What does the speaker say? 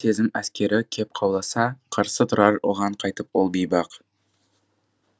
сезім әскері кеп қауласа қарсы тұрар оған қайтіп ол бейбақ